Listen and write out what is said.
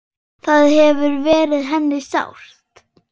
Það hefur verið henni sárt.